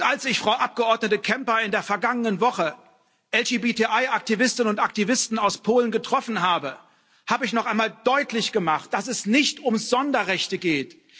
Als ich Frau Abgeordnete Kempa in der vergangenen Woche LGBTI Aktivisteninnen und Aktivisten aus Polen getroffen habe, habe ich noch einmal deutlich gemacht, dass es nicht um Sonderrechte geht.